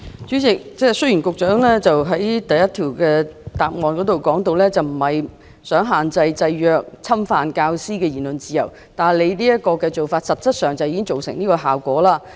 主席，雖然局長在主體答覆第一部分提到，他並非想限制、制約或侵犯教師的言論自由，但他現時的做法實際上已造成這樣的效果。